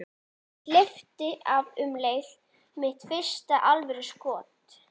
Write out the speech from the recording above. Ég hleypti af um leið: Mitt fyrsta alvöru skot.